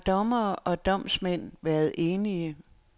Har dommere og domsmænd været enige?